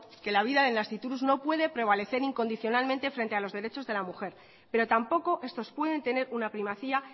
que la vida del nasciturus no puede prevalecer incondicionalmente frente a los derechos de la mujer pero tampoco estos pueden tener una primacía